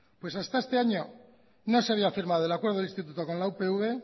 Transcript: pues hasta este año no se había firmado el acuerdo del instituto con la upv